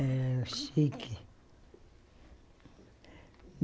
Era chique.